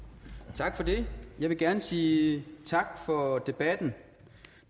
tak for det jeg vil gerne sige tak for debatten